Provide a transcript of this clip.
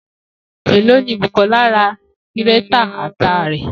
Eló ni Bùkó̩là ra gírétà ata rè